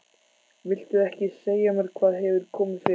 Viltu ekki segja mér hvað hefur komið fyrir?